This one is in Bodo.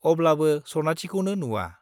अब्लाबो सनाथिखौनो नुवा।